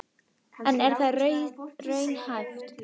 En er það raunhæft?